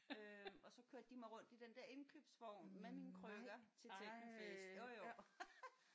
Øh og så kørte de mig rundt i den der indkøbsvogn med mine krykker til technofest jo jo